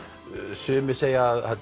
sumir segja að